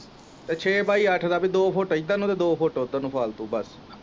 ਛੇ ਬਾਈ ਅੱਠ ਦਾ ਤੇ ਦੋ ਫੁੱਟ ਇੱਧਰ ਨੂੰ ਤੇ ਦੋ ਫੁੱਟ ਉੱਧਰ ਨੂੰ ਫਾਲਤੂ ਬਸ।